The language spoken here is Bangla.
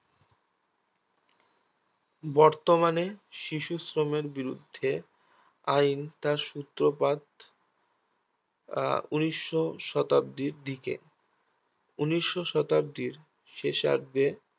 বর্তমানে শিশুশ্রমের বিরুদ্ধে আইন তার সূত্রপাত আহ উনিশো শতাব্দীর দিকে উনিশো শতাব্দীর শেষার্ধে